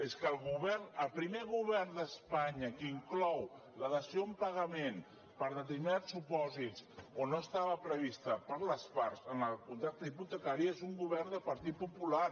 és que el govern el primer govern d’espanya que inclou la dació en pagament per determinats supòsits on no estava prevista per les parts en el contracte hipotecari és un govern del partit popular